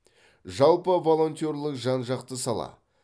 жалпы волонтерлік жан жақты сала